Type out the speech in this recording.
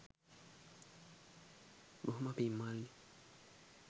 බොහොම පිං මල්ලී